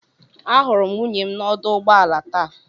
Ahụrụ m nwunye m na ọdụ ụgbọ ala taa.